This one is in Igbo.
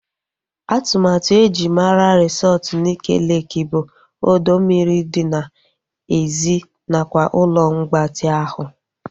Atụmatụ eji mara resọtu Nike Leeki bụ ọdọ mmiri dị n'èzí nakwa ụlọ mgbatị ahụ